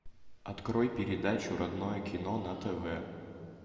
открой передачу родное кино на тв